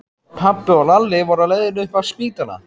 Pabbi og Lalli voru á leiðinni upp á spítala.